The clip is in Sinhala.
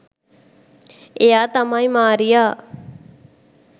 එයා තමයි මාරියා.